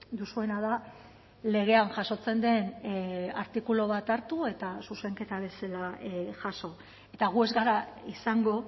duzuena da legean jasotzen den artikulu bat hartu eta zuzenketa bezala jaso eta gu ez gara izango